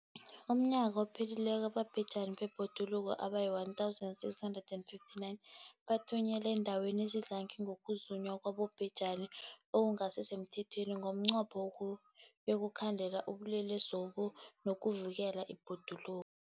UmNnyaka ophelileko abatjheji bebhoduluko abayi-1 659 bathunyelwa eendaweni ezidlange ngokuzunywa kwabobhejani okungasi semthethweni ngomnqopho wokuyokukhandela ubulelesobu nokuvikela ibhoduluko.